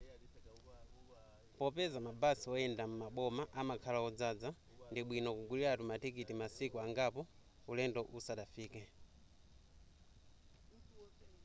popeza mabasi oyenda m'maboma amakhala odzaza ndibwino kuguliratu matikiti masiku angapo ulendo usadafike